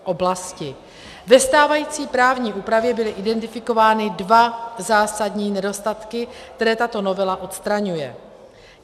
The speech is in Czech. Ve stávající právní úpravě byly identifikovány dva zásadní nedostatky, které tato novela odstraňuje.